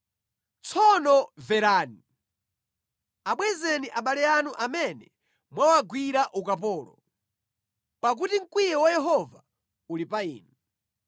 Tsono mvereni! Abwezeni abale anu amene mwawagwira ukapolo, pakuti mkwiyo wa Yehova uli pa inu.”